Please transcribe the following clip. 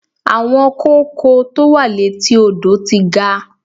Àwọn kóókò tó wà létí odò ti ga.